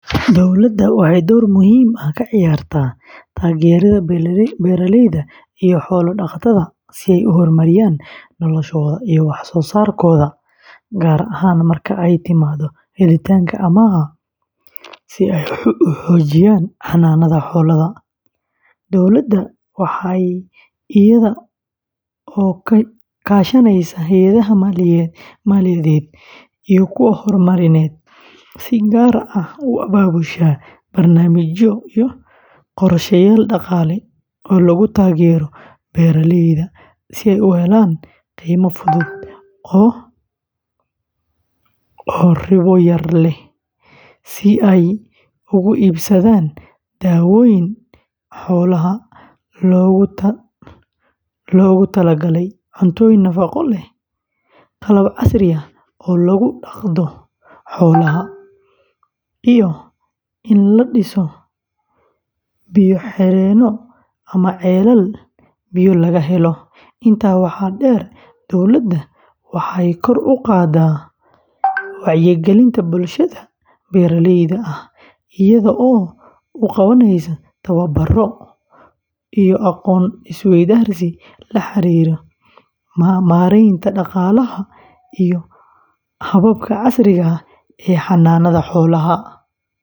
Dowladda waxay door muhiim ah ka ciyaartaa taageeridda beeraleyda iyo xoolo-dhaqatada si ay u horumariyaan noloshooda iyo wax-soo-saarkooda, gaar ahaan marka ay timaado helitaanka amaahaha si ay u xoojiyaan xanaanada xoolaha. Dowladda waxay iyada oo kaashanaysa hay'adaha maaliyadeed iyo kuwa horumarineed, si gaar ah u abaabushaa barnaamijyo iyo qorsheyaal dhaqaale oo lagu taageerayo beeraleyda si ay u helaan deymo fudud oo ribo yar leh, si ay ugu iibsadaan daawooyin xoolaha loogu tala galay, cuntooyin nafaqo leh, qalab casri ah oo lagu dhaqdo xoolaha, iyo in la dhiso biyo-xireenno ama ceelal biyo laga helo. Intaa waxaa dheer, dowladda waxay kor u qaadaa wacyigelinta bulshada beeraleyda ah iyada oo u qabanaysa tababaro iyo aqoon isweydaarsi la xiriira maaraynta dhaqaalaha iyo hababka casriga ah ee xanaanada xoolaha.